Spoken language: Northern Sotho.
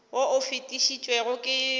wo o fetišitšwego ke kgobokano